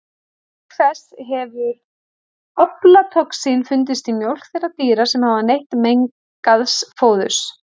Auk þessa hefur aflatoxín fundist í mjólk þeirra dýra sem hafa neytt mengaðs fóðurs.